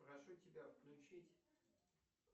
прошу тебя включить